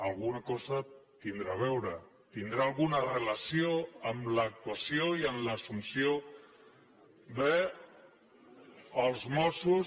alguna cosa deu tenir a veure deu tenir alguna relació amb l’actuació i amb l’assumpció dels mossos